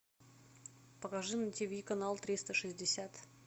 покажи на тиви канал триста шестьдесят